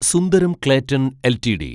Sundaram Clayton LTD